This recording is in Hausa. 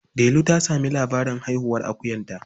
Delu ta sami labarin haihuwar akuyarta.